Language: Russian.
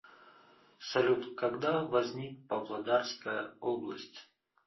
салют когда возник павлодарская область